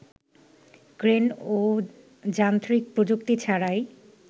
crane ও যান্ত্রিক প্রযুক্তি ছাড়াই